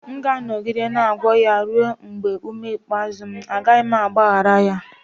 M ga-anọgide na-agwọ ya ruo mgbe ume ikpeazụ m, agaghị m agbaghara ya